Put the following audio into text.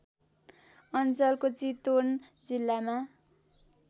अञ्चलको चितवन जिल्लामा